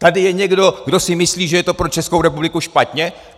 Tady je někdo, kdo si myslí, že je to pro Českou republiku špatně?